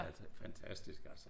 Fantastisk altså